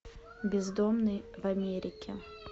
бездомный в америке